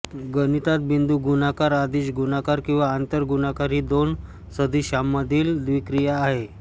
गणितात बिंदू गुणाकार अदिश गुणाकार किंवा आंतर गुणाकार ही दोन सदिशांमधील द्विक्रिया आहे